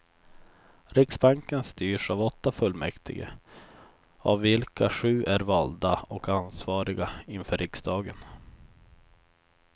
Riksbanken styrs av åtta fullmäktige, av vilka sju är valda och ansvariga inför riksdagen.